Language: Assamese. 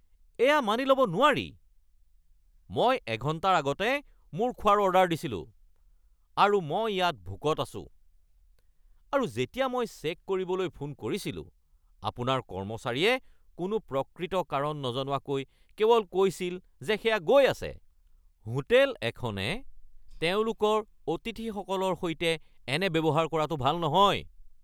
এয়া মানি ল'ব নোৱাৰি। মই এঘণ্টাৰ আগতে মোৰ খোৱাৰ অৰ্ডাৰ দিছিলো, আৰু মই ইয়াত ভোকত আছো। আৰু যেতিয়া মই চেক কৰিবলৈ ফোন কৰিছিলো, আপোনাৰ কৰ্মচাৰীয়ে কোনো প্ৰকৃত কাৰণ নজনোৱাকৈ কেৱল কৈছিল যে সেয়া গৈ আছে। হোটেল এখনে তেওঁলোকৰ অতিথিসকলৰ সৈতে এনে ব্যৱহাৰ কৰাটো ভাল নহয়।